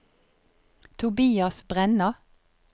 Tobias Brenna